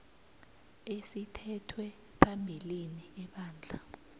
esithethwe phambilini ebandla